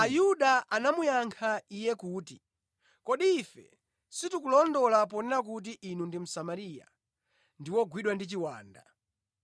Ayuda anamuyankha Iye kuti, “Kodi ife sitikulondola ponena kuti Inu ndi Msamariya ndi wogwidwa ndi chiwanda?”